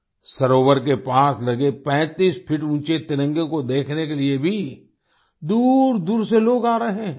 सरोवर के पास लगे 35 फीट ऊँचे तिरंगे को देखने के लिए भी दूरदूर से लोग आ रहे हैं